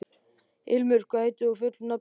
Ilmur, hvað heitir þú fullu nafni?